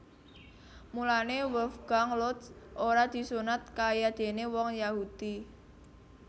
Mulané Wolfgang Lotz ora disunat kayadéné wong Yahudi